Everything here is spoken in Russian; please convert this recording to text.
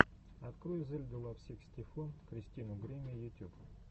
открой зельду лав сиксти фо кристину гримми ютюб